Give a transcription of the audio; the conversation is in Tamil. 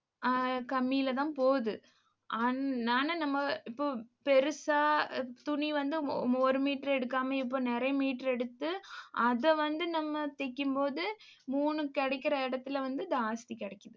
ஆஹ் கம்மியிலதான் போகுது. அஹ் நானு நம்ம இப்போ பெருசா துணி வந்து ஒ~ ஒரு meter எடுக்காம இப்ப நிறைய meter எடுத்து அதை வந்து நம்ம தைக்கும்போது மூணு கிடைக்கிற இடத்தில வந்து ஜாஸ்தி கிடைக்கும்.